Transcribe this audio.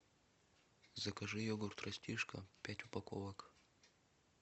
закажи йогурт растишка пять упаковок